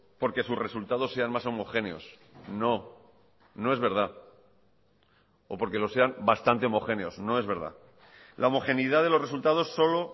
porque sus resultados sean más homogéneos no no es verdad o porque lo sean bastante homogéneos no es verdad la homogeneidad de los resultados solo